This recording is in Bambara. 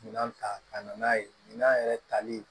Minan ta ka na n'a ye minan yɛrɛ tali